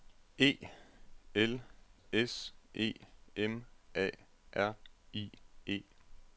E L S E M A R I E